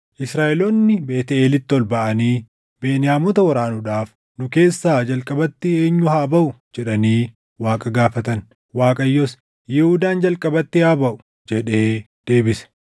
Israaʼeloonni Beetʼeelitti ol baʼanii, “Beniyaamota waraanuudhaaf nu keessaa jalqabatti eenyu haa baʼuu?” jedhanii Waaqa gaafatan. Waaqayyos, “Yihuudaan jalqabatti haa baʼu” jedhee deebise.